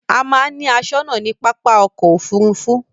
A máa ń ni aṣónà ní pápá ọkò òfurufú.